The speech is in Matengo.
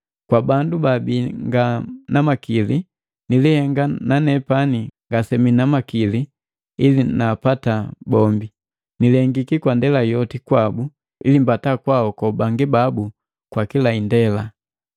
Kwa bandu baabii nga na makili nilihenga na nepani ngasemii na makili ili naapata bombi. Nilihengiki kwa ndela yoti kwabu ili mbata kwaaoko bangi babu kwa kila indela.